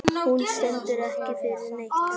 Hún stendur ekki fyrir neitt.